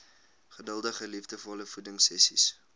geduldige liefdevolle voedingsessies